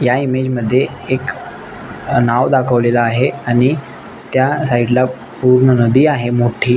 या इमेअज मध्ये एक नाव दाखवलेल आहे आणि त्या साइड ला पुर्ण नदी आहे मोठी.